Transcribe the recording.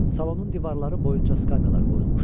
Salonun divarları boyunca skamyalar qoyulmuşdu.